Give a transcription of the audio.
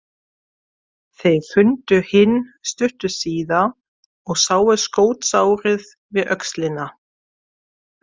Þeir fundu hinn stuttu síðar og sáu skotsárið við öxlina.